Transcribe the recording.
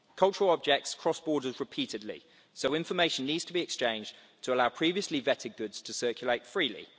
Cultural objects cross borders repeatedly, so information needs to be exchanged to allow previously vetted goods to circulate freely.